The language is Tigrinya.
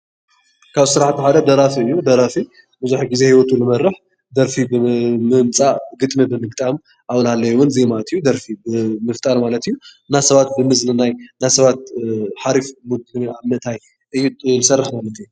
ካብ ስራሕቲ ሓደ ደራሲ እዩ፡፡ ደራሲ ብዙሕ ግዜ ሂወቱ ዝመርሕ ደርፊ ብምምፃእ ግጥሚ ብምግጣም ኣብኡ እናሃለወ ዜማ ኣእትዩ ደርፊ ብምፍጣር ማለት እዩ። እና ሰባት ብምዝንናይ እና ሰባት ሓሪፍ ሙድ ኣብ ምእታይ ዝሰርሕ እዩ ማለት እዩ፡፡